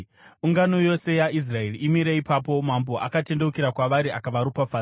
Ungano yose yaIsraeri imire ipapo, mambo akatendeukira kwavari akavaropafadza.